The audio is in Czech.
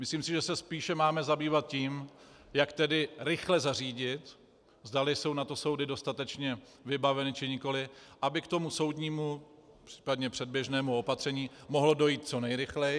Myslím si, že se spíše máme zabývat tím, jak tedy rychle zařídit, zda jsou na to soudy dostatečně vybaveny, či nikoli, aby k tomu soudnímu, případně předběžnému opatření mohlo dojít co nejrychleji.